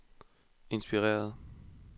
inspireret